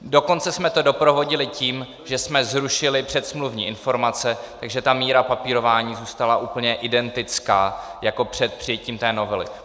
Dokonce jsme to doprovodili tím, že jsme zrušili předsmluvní informace, takže ta míra papírování zůstala úplně identická jako před přijetím té novely.